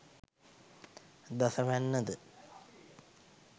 දස වැන්න ද,